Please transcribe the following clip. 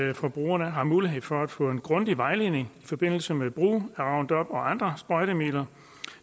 at forbrugerne har mulighed for at få en grundig vejledning i forbindelse med brug af roundup og andre sprøjtemidler